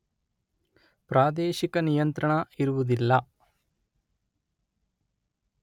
ಪ್ರಾದೇಶಿಕ ನಿಯಂತ್ರಣ ಇರುವುದಿಲ್ಲ.